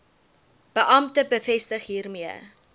beampte bevestig hiermee